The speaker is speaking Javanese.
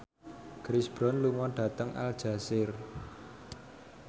Chris Brown lunga dhateng Aljazair